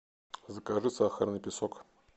закажи сахарный песок